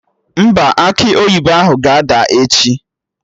Mba, akị oyibo ahụ ga-ada echi